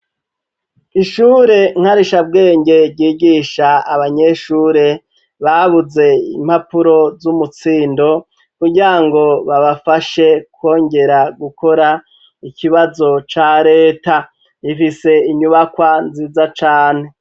Ishure nkarishabwenge ryigisha abanyeshure babuze impapuro z'umutsindo kugirango babafashe kongera gukora ikibazo ca reta ifise inyubakwa nziza cane.